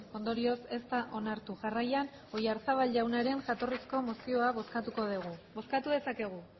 ondorioz ez da onartu jarraian oyarzabal jaunaren jatorrizko mozioa bozkatuko dugu bozkatu dezakegu